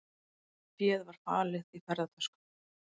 Féð var falið í ferðatöskum